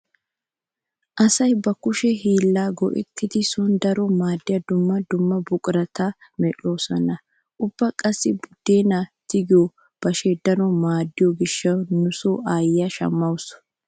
Asay ba kushe hiillan go'etttidi sooni daro maaddiya dumma dumma buqurata medhdhoosona. Ubba qassi buddeenaa tigiyo bashee daro maaddiyo gishshawu nu so aayyiya shammawusu.